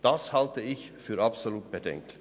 Das halte ich für absolut bedenklich.